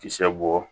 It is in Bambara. Kisɛ bɔ